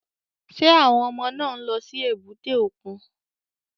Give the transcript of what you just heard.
Ṣé àwọn ọmọ náà ń lọ sí èbúté òkun?